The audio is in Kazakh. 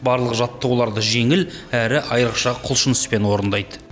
барлық жаттығуларды жеңіл әрі айрықша құлшыныспен орындайды